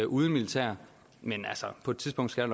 uden militær men på et tidspunkt skal